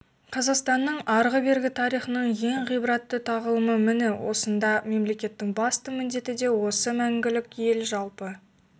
қазақстанның арғы-бергі тарихының ең ғибратты тағылымы міне осында мемлекеттің басты міндеті де осы мәңгілік ел жалпы